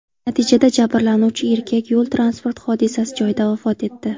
Natijada jabrlanuvchi erkak yo‘l-transport hodisasi joyida vafot etdi.